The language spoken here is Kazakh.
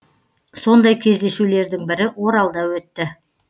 сондай кездесулердің бірі оралда өтті